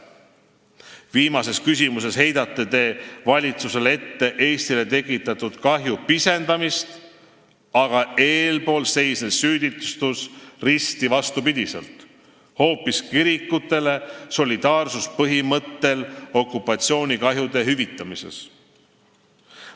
Viimases küsimuses heidate te valitsusele ette Eestile tekitatud kahju pisendamist, aga eespool seisnes süüdistus – risti vastupidi – hoopis kirikutele solidaarsuspõhimõttel okupatsioonikahjude hüvitamises.